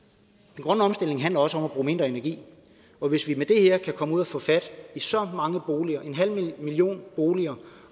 den grønne omstilling handler også om at bruge mindre energi og hvis vi med det her kan komme ud og få fat i så mange boliger en halv million boliger